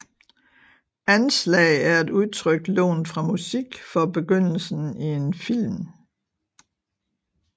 Anslag er et udtryk lånt fra musik for begyndelsen i en film